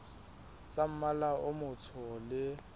tsa mmala o motsho le